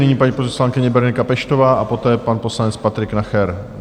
Nyní paní poslankyně Berenika Peštová a poté pan poslanec Patrik Nacher.